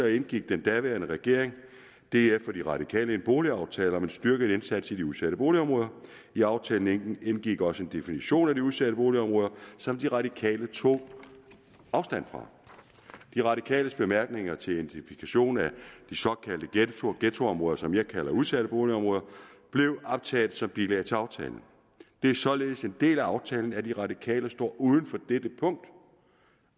indgik den daværende regering df og de radikale en boligaftale om en styrket indsats i de udsatte boligområder i aftalen indgik også en definition af de udsatte boligområder som de radikale tog afstand fra de radikales bemærkninger til en definition af de såkaldte ghettoområder som jeg kalder udsatte boligområder blev optaget som bilag til aftalen det er således en del af aftalen at de radikale står uden for dette punkt